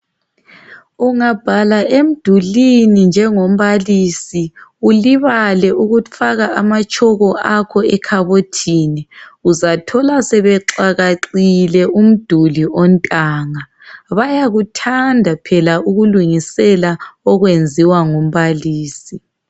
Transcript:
Ungabhala emdulini njengombalisi ulibale ukufaka amatshoko akho ekhabothini, uzathola sebexakaxile umduli ontanga. Bayakuthanda phela ukulungisela okwenziwa ngumbalisi.